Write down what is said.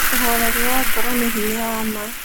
Ũhoreri wa ngoro nĩ hinya wa ma.